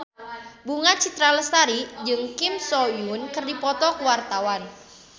Bunga Citra Lestari jeung Kim So Hyun keur dipoto ku wartawan